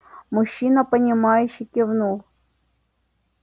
мужчина понимающе кивнул